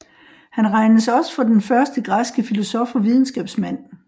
Han regnes også for den første græske filosof og videnskabsmand